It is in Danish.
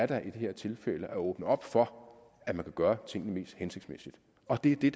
det her tilfælde da at åbne op for at man vil gøre tingene mest hensigtsmæssigt og det er det